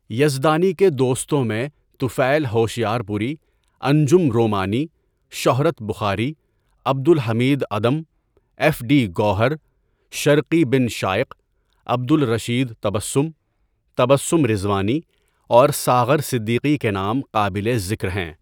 یزدانی کے دوستوں میں طفیل ہوشیار پوری، انجم رومانی، شہرت بخاری، عبدالحمید عدم، ایف ڈی گوہر، شرقی بن شایٔق، عبدالرشید تبسم، تبسم رضوانی اورساغر صدیقی کے نام قابلِ ذکر ہیں.